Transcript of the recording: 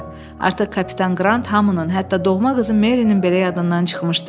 Artıq kapitan Qrant hamının, hətta doğma qızı Merinin belə yadından çıxmışdı.